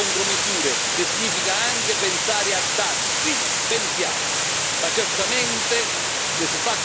Pensiamoci, ma certamente, se si fa competizione sleale, noi dobbiamo saper rispondere.